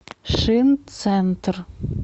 шинцентр